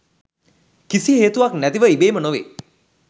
කිසි හේතුවක් නැතිව ඉබේම නොවේ.